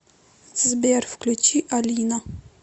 сбер включи алина